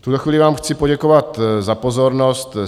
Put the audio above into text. V tuto chvíli vám chci poděkovat za pozornost.